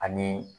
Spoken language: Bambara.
Ani